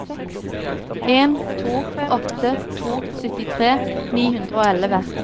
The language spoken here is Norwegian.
en to åtte to syttitre ni hundre og elleve